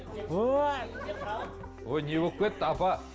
ой не болып кетті апа